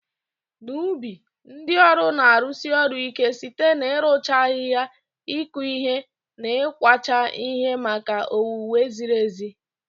N'ubi, ndị ọrụ na-arụsi ọrụ ike site n'ịrụcha ahihia, ịkụ ihe, na ịkwacha ihe maka owuwe zirir ezi.